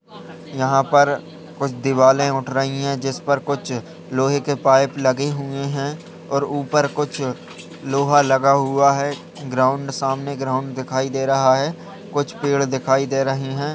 यहां पर कुछ दीवालें उठ रही हैं जिसपर कुछ लोहे के पाइप लगे हुए हैं और ऊपर कुछ लोहा लगा हुआ है। ग्राउंड सामने ग्राउंड दिखाई दे रहा है। कुछ पेड़ दिखाई दे रहे हैं।